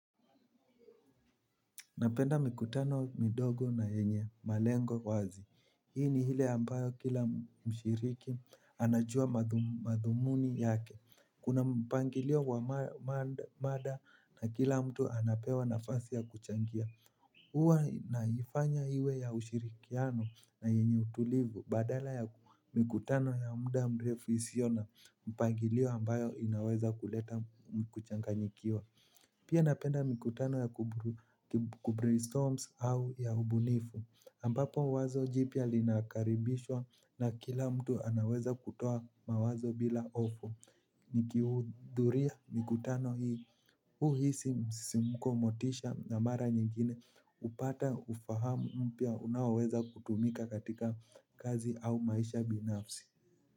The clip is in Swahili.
Napenda mikutano midogo na yenye malengo wazi. Hii ni hile ambayo kila mshiriki anajua madhumuni yake. Kuna mpangilio wa maada na kila mtu anapewa nafasi ya kuchangia. Huwa naifanya iwe ya ushirikiano na yenye utulivu. Badala ya mikutano ya muda mrefu isiyo na mpangilio ambayo inaweza kuleta kuchanganyikiwa. Pia napenda mikutano ya kuburistorms au ya ubunifu ampapo wazo jipya linakaribishwa na kila mtu anaweza kutoa mawazo bila hofu. Nikihudhuria mikutano hii huhisi msisimko, motisha na mara nyingine hupata ufahamu mpya unaoweza kutumika katika kazi au maisha binafsi.